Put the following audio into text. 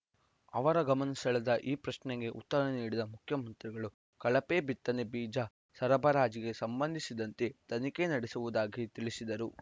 ಅವರ ಗಮನ ಸೆಳೆವ ಈ ಪ್ರಶ್ನೆಗೆ ಉತ್ತರ ನೀಡಿದ ಮುಖ್ಯಮಂತ್ರಿಗಳು ಕಳಪೆ ಬಿತ್ತನೆ ಬೀಜ ಸರಬರಾಜಿಗೆ ಸಂಬಂಧಿಸಿದಂತೆ ತನಿಖೆ ನಡೆಸುವುದಾಗಿ ತಿಳಿಸಿದರು